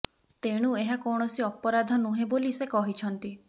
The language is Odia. ତେଣୁ ଏହା କୌଣସି ଅପରାଧ ନୁହେଁ ବୋଲି ସେ କହିଛନ୍ତି